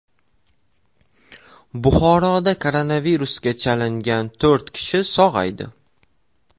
Buxoroda koronavirusga chalingan to‘rt kishi sog‘aydi.